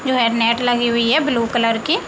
जो है नेट लगी हुई है ब्लू कलर की।